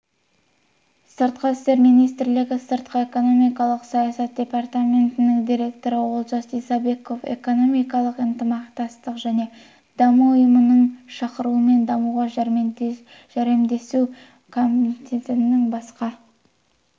сыртқы істер министрлігі сыртқы экономикалық саясат департаментінің директоры олжас исабеков экономикалық ынтымақтастық және даму ұйымының шақыруымен дамуға жәрдемдесу комитетінің басқару мәселелері